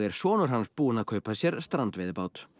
sonur hans búinn að kaupa sér strandveiðibát